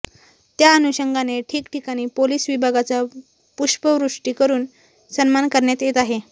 त्या अनुषंगाने ठिकठिकाणी पोलीस विभागाचा पुष्पवृष्टी करून सन्मान करण्यात येत आहे